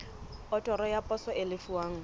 otoro ya poso e lefuwang